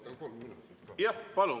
Jah, palun!